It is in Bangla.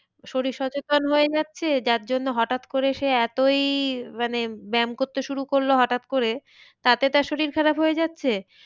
শরীর সচেতন হয়ে যাচ্ছে যার জন্য হঠাৎ করে সে এতই মানে ব্যাম করতে শুরু করলো হঠাৎ করে তাতে তার শরীর খারাপ হয়ে যাচ্ছে।